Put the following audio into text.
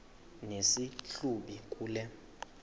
nesi hlubi kule